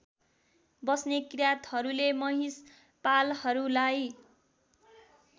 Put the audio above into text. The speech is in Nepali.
बस्ने किराँतहरूले महिषपालहरूलाई